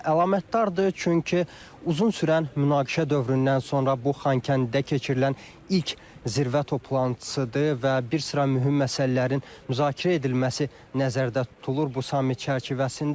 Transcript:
Əlamətdardır, çünki uzun sürən münaqişə dövründən sonra bu Xankəndidə keçirilən ilk zirvə toplantısıdır və bir sıra mühüm məsələlərin müzakirə edilməsi nəzərdə tutulur bu samit çərçivəsində.